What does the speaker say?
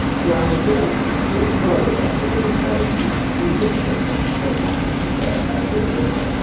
Siyahıdakı olduğu kimi burada da elementləri biz indeks və kəsiklər vasitəsilə əldə edə bilərik.